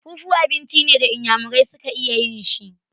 Fufu abinci ne da inyamurai su ka iya yin shi.